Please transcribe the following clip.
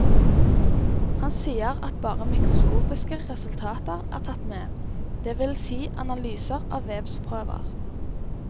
Han sier at bare mikroskopiske resultater er tatt med, det vil si analyser av vevsprøver.